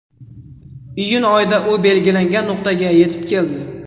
Iyun oyida u belgilangan nuqtaga yetib keldi.